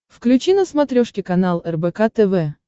включи на смотрешке канал рбк тв